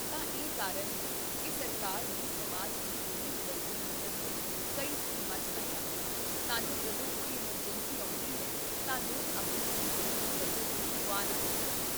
ਤਾਂ ਇਹੀ ਕਾਰਨ ਹੈ ਕਿ ਸਰਕਾਰ ਨੇ ਸਮਾਜ ਦੇ ਗਰੀਬ ਵਰਗ ਦੀ ਮਦਦ ਲਈ ਕਈ ਸਕੀਮਾਂ ਚੱਲਾਈਆਂ ਹਨ, ਤਾਂ ਜੋ ਜਦੋਂ ਕੋਈ ਐੱਮਰਜੈਂਸੀ ਆਉਂਦੀ ਹੈ, ਤਾਂ ਲੋਕ ਆਪਣੀ ਜ਼ਿੰਦਗੀ ਦੀ ਬੱਚਤ ਨੂੰ ਗੁਆ ਨਾ ਸਕਣ